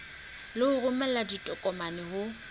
le ho romela ditokomane ho